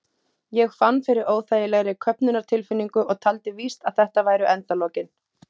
Ég fann fyrir óþægilegri köfnunartilfinningu og taldi víst að þetta væru endalokin.